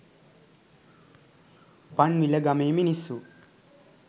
පන්විල ගමේ මිනිස්සු